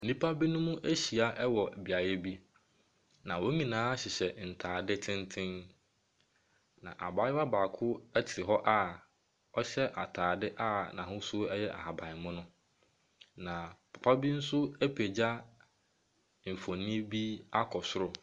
Nnipa binom ahyia wɔ beaeɛ bi, na wɔn nyinaa hyehyɛ ntaade tenten. Na abaayewa baako te hɔ a ɔhyɛ ataade a n’ahosuo yɛ ahabanmono. Na papa bi nso apagya mfonini wɔ soro.